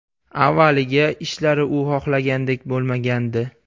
Avvaliga ishlari u xohlagandek bo‘lmagandi.